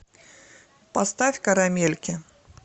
поставь карамельки